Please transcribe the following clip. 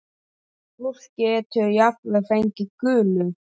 Fólk getur jafnvel fengið gulu.